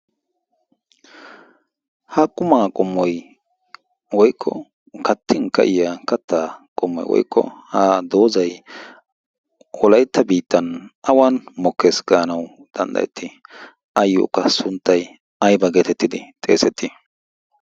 ha qumaa qommoy woykko kattin ka'iya kattaa qommoy woykko ha doozai wolaytta biittan awan mokkees gaanawu danddayettii ayyookka sunttay ayba geetettidi xeesettii